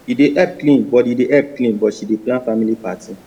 he dey help clean but help clean but she dey plan family party